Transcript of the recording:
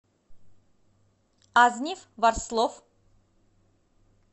азнив ворслов